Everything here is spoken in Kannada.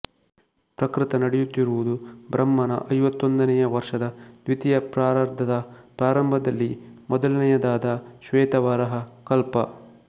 ಪ್ರಕೃತ ನಡೆಯುತ್ತಿರುವುದು ಬ್ರಹ್ಮನ ಐವತ್ತೊಂದನೆಯ ವರ್ಷದ ದ್ವಿತೀಯ ಪರಾರ್ಧದ ಪ್ರಾರಂಭದಲ್ಲಿ ಮೊದಲನೆಯದಾದ ಶ್ವೇತವರಾಹ ಕಲ್ಪ